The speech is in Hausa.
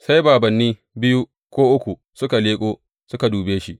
Sai bābānni biyu ko uku suka leƙo suka dube shi.